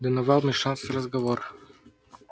донован вмешался в разговор